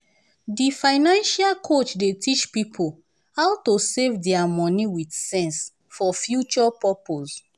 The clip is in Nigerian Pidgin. di financial coach dey teach pipo how to save dia money with sense for future purpose.